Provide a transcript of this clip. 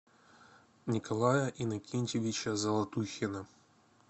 николая иннокентьевича золотухина